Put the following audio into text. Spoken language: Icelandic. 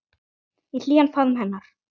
Í hlýjan faðm hennar.